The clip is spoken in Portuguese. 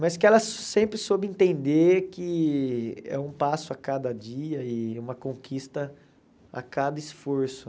Mas que ela sempre soube entender que é um passo a cada dia e uma conquista a cada esforço.